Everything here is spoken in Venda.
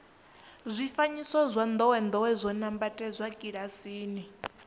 zwifanyiso zwa ndowendowe zwo nambatsedzwa kilasini